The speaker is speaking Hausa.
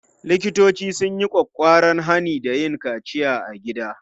Likitoci sun yi ƙwaƙƙwaran hani da yin kaciya a gida.